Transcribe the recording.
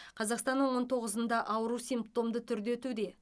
қазақстанның он тоғызында ауру симптомды түрде өтуде